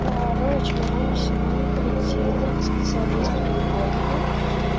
короче моя мама сегодня ходила к специалисту рингологу